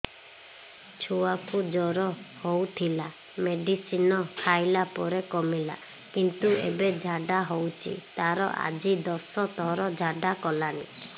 ଛୁଆ କୁ ଜର ହଉଥିଲା ମେଡିସିନ ଖାଇଲା ପରେ କମିଲା କିନ୍ତୁ ଏବେ ଝାଡା ହଉଚି ତାର ଆଜି ଦଶ ଥର ଝାଡା କଲାଣି